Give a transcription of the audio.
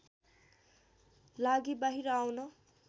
लागि बाहिर आउन